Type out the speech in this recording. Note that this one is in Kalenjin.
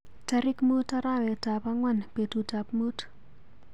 Tarik mut arawetap ang'wanbetut ap muut.